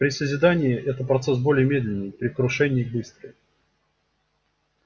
при созидании это процесс более медленный при крушении быстрый